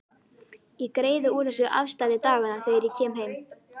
Ég greiði úr þessu afstæði daganna þegar ég kem heim.